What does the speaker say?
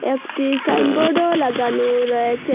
একটি সাইনবোর্ডও লাগানো রয়েসে ।